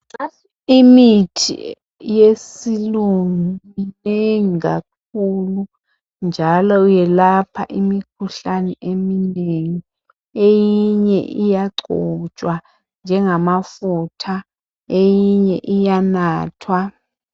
Imithi yesilungu minengi kakhulu njalo yelapha imikhuhlane eminengi, eyinye iyagcotshwa njengamafutha eyinye iyanathwa.